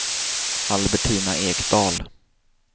Albertina Ekdahl